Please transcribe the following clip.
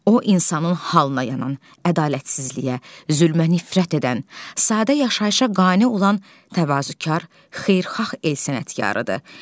O insanın halına yanan, ədalətsizliyə, zülmə nifrət edən, sadə yaşayışa qane olan təvazökar, xeyirxah el sənətkarıdır.